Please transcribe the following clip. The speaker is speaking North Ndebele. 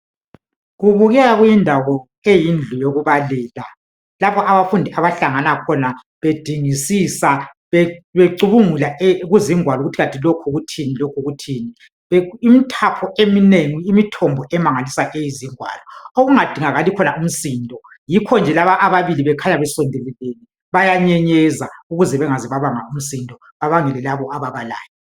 Kubukeka kuyindawo eyindlu yokubalela. Lapho abafundi abahlangana khona. Bedingisisa, becubungula kuzingwalo. Ukuthi kanti lokhu kuthini, lokhu kuthini. Imithapho eminengi, imithombo eminengi yezingwalo. Okungadingakali khona umsindo. Yikho nje laba ababili, bekhanya besondelelene. Bayanyenyeza, ukuze bangaze babanga umsindo. Bebangela labo ababalayo.